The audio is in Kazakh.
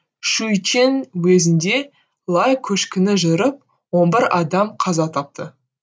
шуйчэн уезінде лай көшкіні жүріп он бір адам қаза тапты